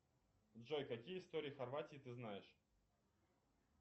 джой какие истории хорватии ты знаешь